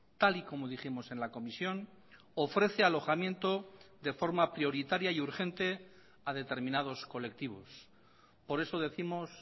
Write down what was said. tal y como dijimos en la comisión ofrece alojamiento de forma prioritaria y urgente a determinados colectivos por eso décimos